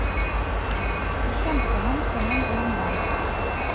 De kjente ham som en god mann.